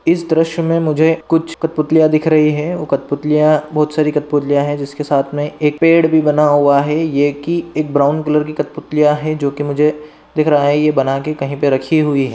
इस दृश्य मे मुझे कुछ कठपुतलिया दिखा रही है वो कठपुतलिया बहुत सारे कठपुतलिया है जिसके साथ मे एक पेड़ भी बना हुआ है ये की एक ब्राउन कलर की कठपुतलिया है जो की मुझे दिख रहा है ये बना के कही पे रखी हुई है।